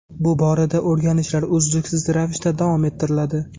Bu borada o‘rganishlar uzluksiz ravishda davom ettiriladi.